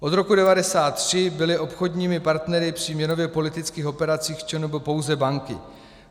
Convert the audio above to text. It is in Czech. Od roku 1993 byly obchodními partnery při měnově politických operacích v ČNB pouze banky.